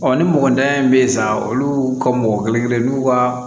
ni mɔgɔ dayɛlɛ bɛ yen sisan olu ka mɔgɔ kelen kelen n'u ka